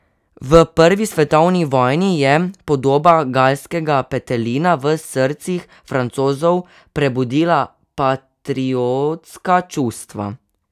V prvi svetovni vojni je podoba galskega petelina v srcih Francozov prebudila patriotska čustva.